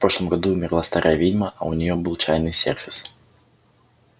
в прошлом году умерла старая ведьма а у неё был чайный сервис